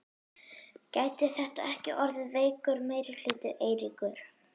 Gæti þetta ekki orðið veikur meirihluti, Eiríkur?